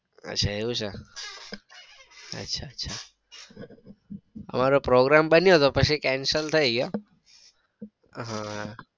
અચ્છા એવું છે. અચ્છા અચ્છા અમારો program બન્યો હતો પછી cancel થઇ ગયો. આહ